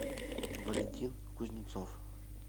валентин кузнецов